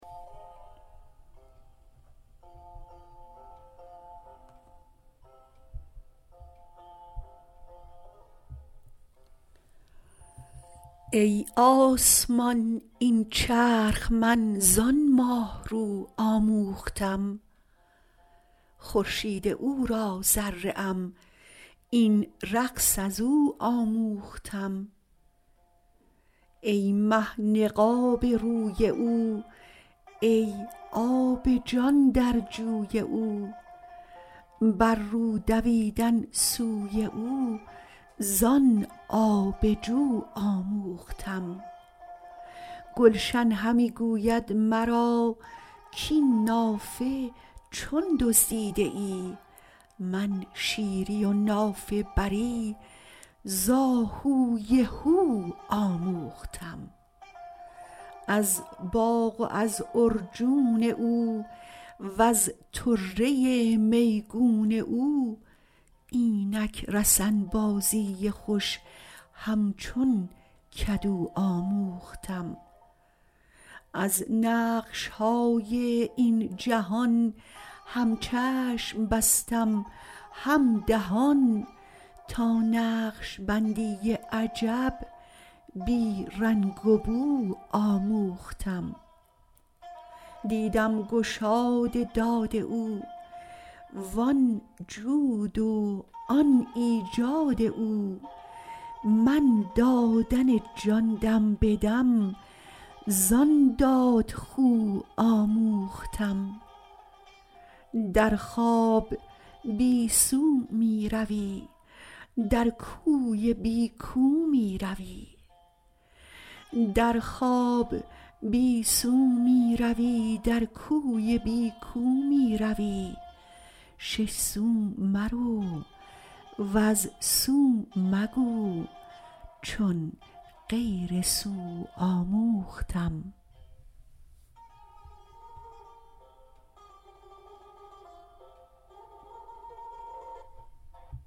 ای آسمان این چرخ من زان ماه رو آموختم خورشید او را ذره ام این رقص از او آموختم ای مه نقاب روی او ای آب جان در جوی او بر رو دویدن سوی او زان آب جو آموختم گلشن همی گوید مرا کاین نافه چون دزدیده ای من شیری و نافه بری ز آهوی هو آموختم از باغ و از عرجون او وز طره میگون او اینک رسن بازی خوش همچون کدو آموختم از نقش های این جهان هم چشم بستم هم دهان تا نقش بندی عجب بی رنگ و بو آموختم دیدم گشاد داد او وان جود و آن ایجاد او من دادن جان دم به دم زان دادخو آموختم در خواب بی سو می روی در کوی بی کو می روی شش سو مرو وز سو مگو چون غیر سو آموختم